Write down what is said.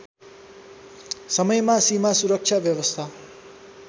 समयमा सीमासुरक्षा व्यवस्था